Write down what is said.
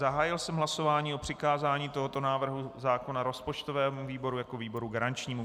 Zahájil jsem hlasování o přikázání tohoto návrhu zákona rozpočtovému výboru jako výboru garančnímu.